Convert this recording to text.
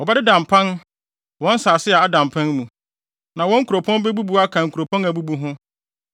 Wɔbɛdeda mpan wɔ nsase a ada mpan mu, na wɔn nkuropɔn bebubu aka nkuropɔn a abubu ho.